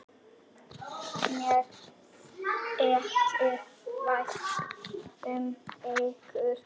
Mér þykir vænt um ykkur.